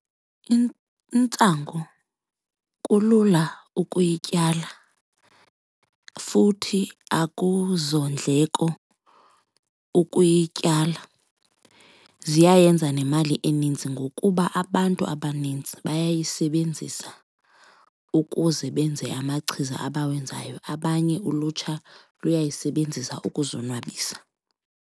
intsangu kulula ukuyityala futhi akuzondleko ukuyityala. Ziyayenza nemali eninzi ngokuba abantu abanintsi bayayisebenzisa ukuze benze amachiza abawenzayo, abanye ulutsha luyayisebenzisa ukuzonwabisa.